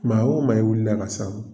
Maa o maa i wilila ka s'an ma.